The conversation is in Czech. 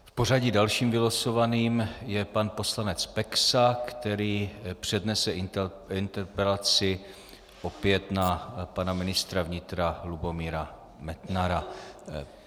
V pořadí dalším vylosovaným je pan poslanec Peksa, která přednese interpelaci opět na pana ministra vnitra Lubomíra Metnara.